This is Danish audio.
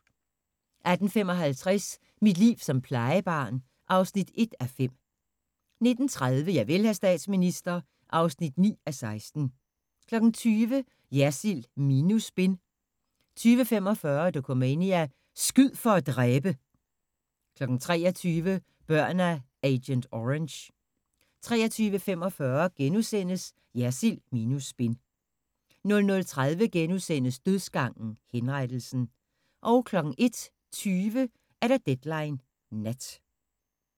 18:55: Mit liv som plejebarn (1:5) 19:30: Javel, hr. statsminister (9:16) 20:00: Jersild minus spin 20:45: Dokumania: Skyd for at dræbe! 23:00: Børn af agent orange 23:45: Jersild minus spin * 00:30: Dødsgangen - Henrettelsen * 01:20: Deadline Nat